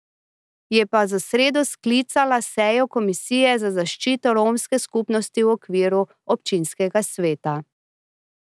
Je pa za sredo sklicala sejo komisije za zaščito romske skupnosti v okviru občinskega sveta.